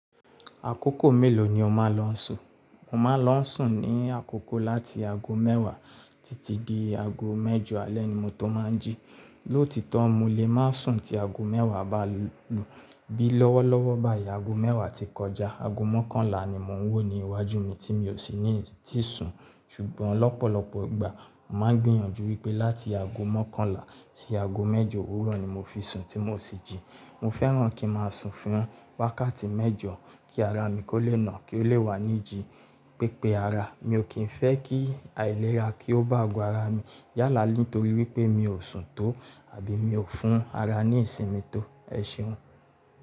Àkókò mélòó ni o máa ń lọ n sùn? Mo máa ń lọ sùn ní àkókò láti aago mẹ́wàá títí di aago mẹ́jọ alẹ́ ni mo tó máa ń jí. Lóòtítọ́ mo lè ma sùn tí aago mẹ́wàá bá lù. Bí lọ́wọ́ lọ́wọ́ báyìí aago mẹ́wàá ti kọjá, aago mọ́kànlá ni mò ń wò ní iwájú mi tí mi ò sì ní ti sùn. Ṣùgbọ́n lọ́pọ̀lọpọ̀ ìgbà, mà ń gbìyànjú wípé láti aago mọ́kànlá sí aago mẹ́jọ òwúrọ̀ ni mo fi sùn tí mò sì jí. Mo fẹ́ràn kí n máa sùn fún wákàtí mẹ́jọ kí ara mi kó lè nà kí ó lè wà ní iji pípé ara. Mi ò kí ń fẹ́ kí àìlera kí ó bá ago ara mi yálà nítorí wípé mi ò sùn tó àbí mi ò fún ara ní ìsinmi tó. Ẹ ṣeun.